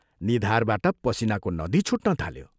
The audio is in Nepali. निधारबाट पसीनाको नदी छुट्न थाल्यो।